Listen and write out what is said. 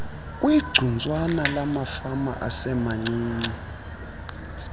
kwigcuntswana lamafama asemancinci